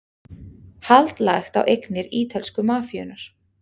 Hald lagt á eignir ítölsku mafíunnar